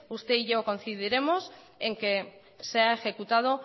usted y yo coincidiremos en que sea ejecutado